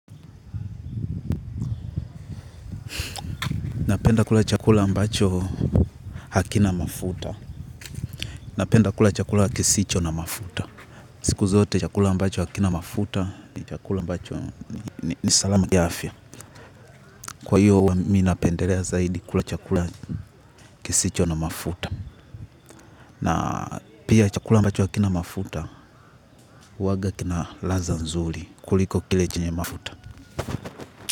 Napenda kula chakula ambacho hakina mafuta. Napenda kula chakula kisicho na mafuta. Siku zote chakula ambacho hakina mafuta ni chakula ambacho ni salama kiafya. Kwa hiyo, mimi napendelea zaidi kula chakula kisicho na mafuta. Na pia chakula ambacho hakina mafuta, huwaga kina ladha nzuri kuliko kile chenye mafuta.